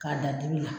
K'a da dibi la